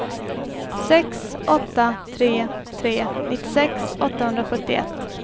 sex åtta tre tre nittiosex åttahundrasjuttioett